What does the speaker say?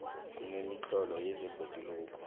kunemitlolo yebhoduluko